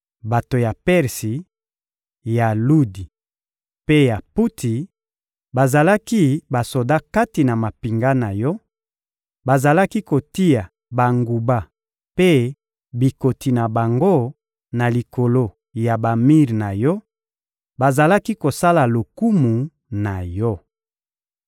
Bato ya Persi, ya Ludi mpe ya Puti bazalaki basoda kati na mampinga na yo: bazalaki kotia banguba mpe bikoti na bango na likolo ya bamir na yo; bazalaki kosala lokumu na yo.